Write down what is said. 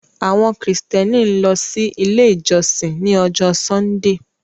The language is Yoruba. Awọn kristiani n lọ si ile ijọsin ni ọjọ Sundee